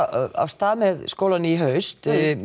af stað með skólann í haust